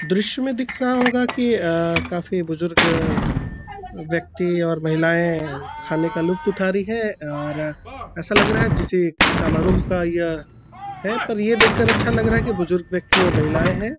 दृश्य में दिख रहा होगा कि अ काफी बुजुर्ग व्यक्ति और महिलायें खाने का लुफ्त उठा रही हैं और ऐसा लग रहा है जैसे समारोह का या है पर ये देख कर अच्छा लग रहा है कि बुजुर्ग व्यक्ति और महिलायें हैं |